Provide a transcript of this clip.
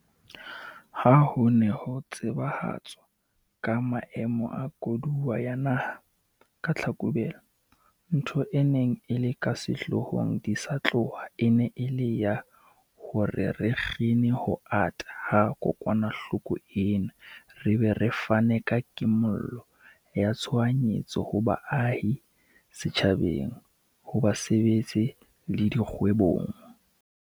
Ha ho ne ho tsebahatswa ka Maemo a Koduwa ya Naha ka Tlhakubele, ntho e neng e le ka sehloohong di sa tloha e ne e le ya hore re kgine ho ata ha kokwanahloko ena re be re fane ka kimollo ya tshoha nyetso ho baahi, setjhabeng, ho basebetsi le dikgwebong.